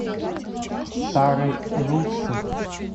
старой руссы